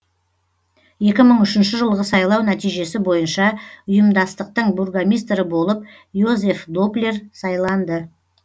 екі мың үшінші жылғы сайлау нәтижесі бойынша ұйымдастықтың бургомистрі болып йозеф доплер сайланды